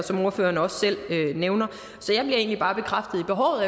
som ordføreren også selv nævner så jeg bliver egentlig bare bekræftet i behovet